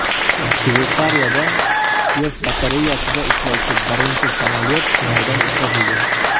Shveysariyada quyosh batareyasida ishlovchi birinchi samolyot sinovdan o‘tkazildi.